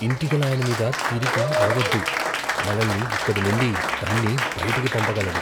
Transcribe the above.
ఇంటిగలాయన మీద తిరిగి అరవద్దు.మనల్ని ఇక్కడి నుండి తన్ని బయటికి పంపగలడు.